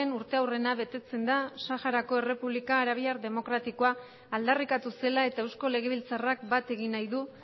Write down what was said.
urteurrena betetzen da saharako errepublika arabiar demokratikoa aldarrikatu zela eta eusko legebiltzarrak bat egin nahi du